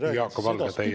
Jaak Valge, teie aeg!